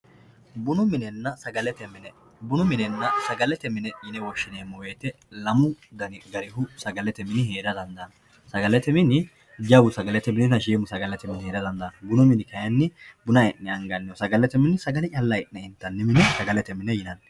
Bunu minena sagalete mine bunu minena sagalete mine yine woshinemo woyite lamu gari sagalete heera dandano sagalete mini jawu sagalete minina shiimu sagalete mini heera dandano bunu mini buna calla e`ne angani mineeti sagalete mini sagale calla intani mineeti